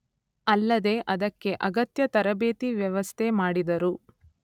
ಅಲ್ಲದೇ ಅದಕ್ಕೆ ಅಗತ್ಯ ತರಬೇತಿ ವ್ಯವಸ್ಥೆ ಮಾಡಿದರು.